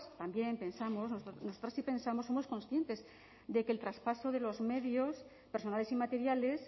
también pensamos nosotras sí pensamos somos conscientes de que el traspaso de los medios personales y materiales